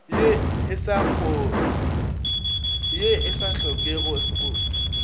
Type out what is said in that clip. ye e sa hlokeng go